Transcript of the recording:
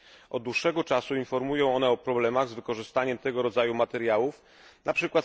Od dłuższego czasu informują one o problemach z wykorzystaniem tego rodzaju materiałów, np.